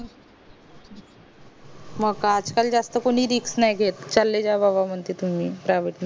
आज काल कोणी बाबा जास्त रिस्क नाही घेत चले जा बाबा तुम्ही म्हणत private मध्ये